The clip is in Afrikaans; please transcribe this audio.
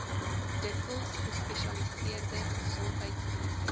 dikwels gespesialiseerde gesondheidsdienste